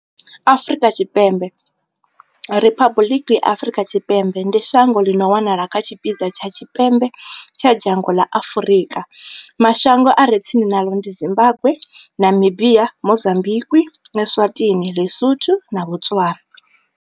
Afrika Tshipembe, Riphabuḽiki Afrika Tshipembe, ndi shango ḽi no wanala kha tshipiḓa tsha tshipembe tsha dzhango ḽa Afurika. Mashango a re tsini naḽo ndi Zimbagwe, Namibia, Mozambikwi, Eswatini, LiSotho na Botswana.